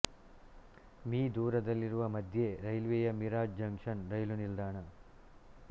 me ದೂರದಲ್ಲಿರುವ ಮಧ್ಯ ರೈಲ್ವೆಯ ಮಿರಾಜ್ ಜಂಕ್ಷನ್ ರೈಲು ನಿಲ್ದಾಣ